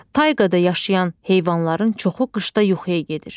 Tayqada yaşayan heyvanların çoxu qışda yuxuya gedir.